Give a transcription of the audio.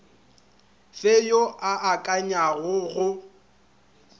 fe yo a akanyago go